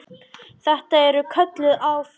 Eru þetta kölluð afföll.